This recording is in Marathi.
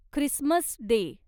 Christmas day